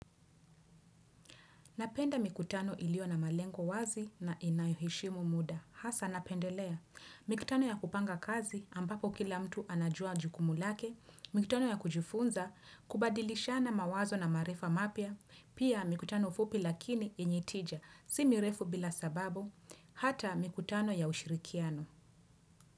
Napenda mikutano ilio na malengo wazi na inayoheshimu muda. Hasa napendelea. Mikutano ya kupanga kazi ambapo kila mtu anajua jukumu lake. Mikutano ya kujifunza kubadilishana mawazo na maarifa mapya. Pia mikutano fupi lakini yenye tija. Si mirefu bila sababu. Hata mikutano ya ushirikiano.